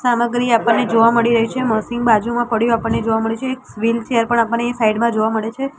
સામગ્રી આપણને જોવા મળી રહી છે મશીન બાજુમાં પડ્યું આપણને જોવા મળે છે એક વીલચેર પણ આપણને સાઈડ માં જોવા મળે છે.